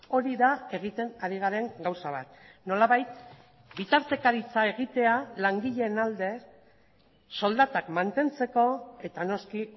hori da egiten ari garen gauza bat nolabait bitartekaritza egitea langileen alde soldatak mantentzeko eta noski